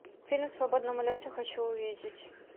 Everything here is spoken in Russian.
фильм в свободном улете хочу увидеть